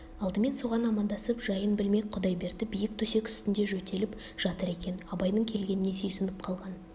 алдымен соған амандасып жайын білмек құдайберді биік төсек үстінде жөтеліп жатыр екен абайдың келгеніне сүйсініп қалған